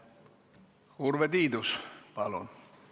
Urve Tiidus, palun!